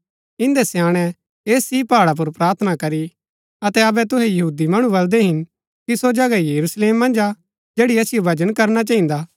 इन्दै स्याणैं ऐस ही पहाडा पुर प्रार्थना करी अतै अबै तूहै यहूदी मणु बलदै हिन कि सो जगह यरूशलेम मन्ज हा जैड़ी असिओ भजन करना चहिन्दा